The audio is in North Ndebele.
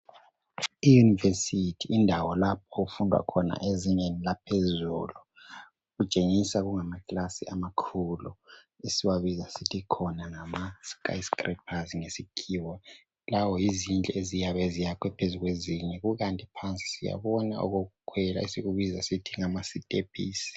Iuniversity yindawo lapha okufundwa khona ezingeni laphezulu. Kutshengisa kungamaklasi amakhulu. Esiwabiza sithi khona ngamaskyscrapers, ngesikhiwa. Lawo yizindlu eziyabe ziyakhiwe phezu kwezinye. Kukanti phansi siyakubona okokukhwela. Esikubiza ngokuthi ngamastephisi.